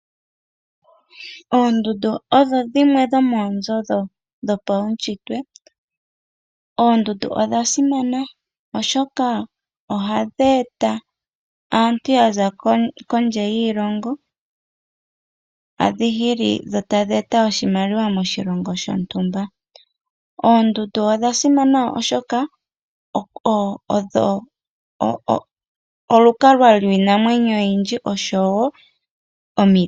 Oondundu odho dhimwe dho moonzo dhopaushitwe . Oondundu odha simana oshoka ohadhi eta aantu yaza kondje yiilongo hadhi hili dho tadhi eta oshimaliwa moshilongo shontumba . Oondundu odhasimana oshoka odho olukalwa lwiinamwenyo oyindji oshowo omiti.